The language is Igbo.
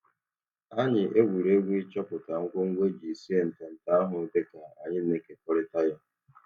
Anyị egwuregwu ịchọpụta ngwo ngwo e ji sie ntanta ahụ dịka anyị na-ekekorita ya.